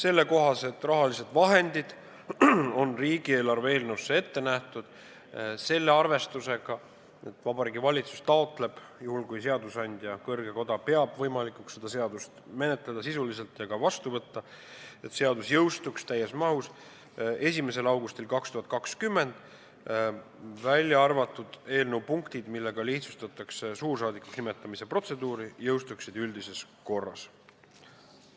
Need rahalised vahendid on riigieelarve eelnõus ette nähtud selle arvestusega, et Vabariigi Valitsus taotleb – juhul kui seadusandja, kõrge koda, peab võimalikuks seda eelnõu sisuliselt menetleda ja ka seadusena vastu võtta –, et seadus jõustuks täies mahus 1. augustil 2020, välja arvatud eelnõu punktid, millega lihtsustatakse suursaadikuks nimetamise protseduuri, mis jõustuksid üldises korras.